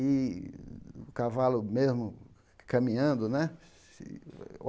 E o cavalo mesmo caminhando, né? se